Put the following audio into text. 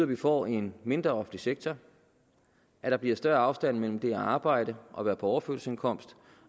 vi får en mindre offentlig sektor at der bliver større afstand mellem det at arbejde og være på overførselsindkomst